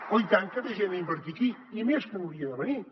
oh i tant que ve gent a invertir aquí i més que n’hauria de venir